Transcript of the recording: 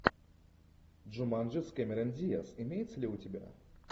джуманджи с кэмерон диаз имеется ли у тебя